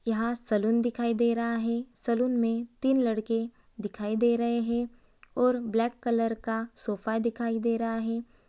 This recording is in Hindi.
यहां सैलून दिखाई दे रहा है | सैलून में तीन लड़के दिखाई दे रहे हैं और ब्लैक कलर का सोफा दिखाई दे रहा है।